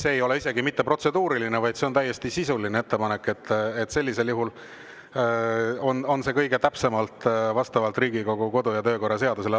See ei ole isegi mitte protseduuriline, vaid see on täiesti sisuline ettepanek, nii et sellisel juhul on see kõige täpsemalt vastavalt Riigikogu kodu- ja töökorra seadusele.